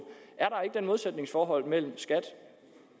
er der modsætningsforhold mellem